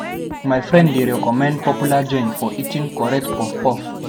My friend dey recommend popular joint for eating correct puff-puff.